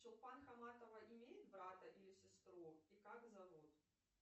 чулпан хаматова имеет брата или сестру и как зовут